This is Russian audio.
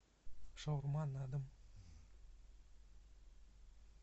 шаурма на дом